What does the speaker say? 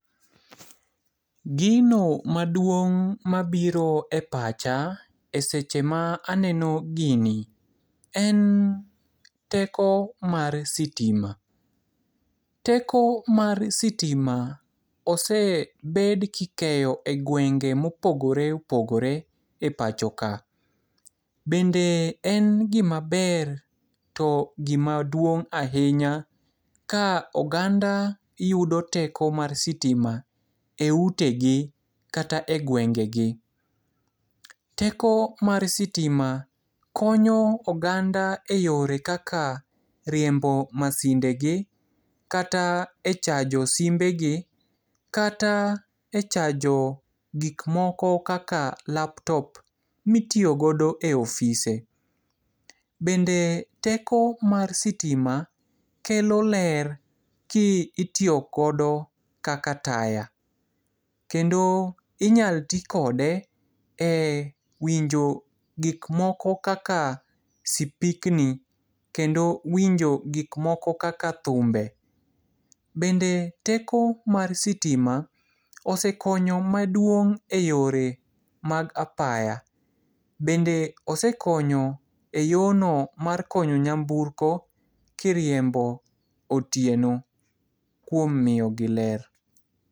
Gino maduong' mabiro e pacha e seche ma aneno gini, en teko mar sitima. Teko mar sitima osebed kikeyo e gwenge mopogore opogore e pacho ka. Bende en gima ber to gima duong' ahinya ka oganda yudo teko mar sitima e utegi kata e gwengegi. Teko mar sitima konyo oganda e yore kaka riembo masinde gi, kata e chajo simbegi, kata e chajo gikmoko kaka laptop mitiyo godo e ofise. Bende teko mar sitima kelo ler ki itiyogodo kaka taya. Kendo inyal ti kode e winjo gikmoko kaka sipikni, kendo winjo gikmoko kaka thumbe. Bende teko mar sitima osekonyo maduong' e yore mag apaya. Bende osekonyo e yono mar konyo nyamburko kiriembo otieno kuom miyo gi ler.